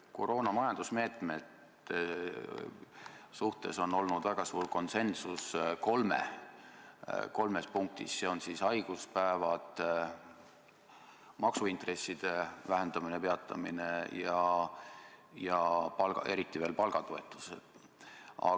Koroonaaegsete majandusmeetmete suhtes on olnud väga suur konsensus kolmes punktis: haiguspäevad, maksuintresside vähendamine-peatamine ja eriti veel palgatoetus.